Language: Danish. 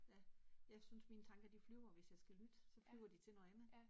Ja, jeg synes mine tanker de flyver, hvis jeg skal lytte. Så flyver de til noget andet